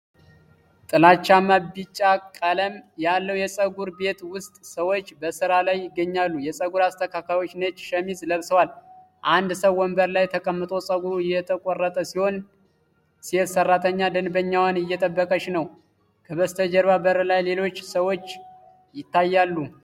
ጥላቻማ ቢጫ ቀለም ያለው የፀጉር ቤት ውስጥ ሰዎች በስራ ላይ ይገኛሉ። ፀጉር አስተካካዮች ነጭ ሸሚዝ ለብሰዋል። አንድ ሰው ወንበር ላይ ተቀምጦ ፀጉሩ እየተቆረጠ ሲሆን፣ ሴት ሰራተኛ ደንበኛዋን እየጠበቀች ነው። ከበስተጀርባ በር ላይ ሌሎች ሰዎች ይታያሉ።